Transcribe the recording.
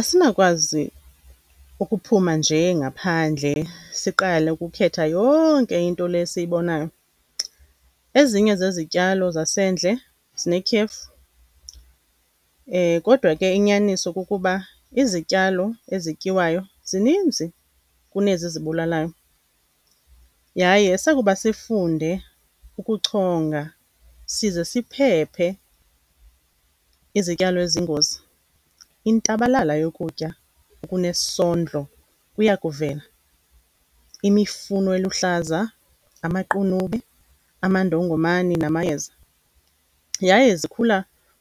Asinakwazi ukuphuma nje ngaphandle siqale ukukhetha yonke into le esiyibonayo, ezinye zezityalo zasendle zinetyefu. Kodwa ke inyaniso kukuba izityalo ezityiwayo zininzi kunezi zibulalayo, yaye sakuba sifunde ukuchonga size siphephe izityalo eziyingozi intabalala yokutya okunesondlo iyakuvela, imifuno eluhlaza, amaqunube, amandongomane namayeza, yaye zikhula